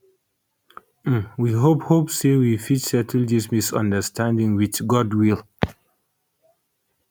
um we hope hope say wey fit settle dis misunderstanding wit goodwill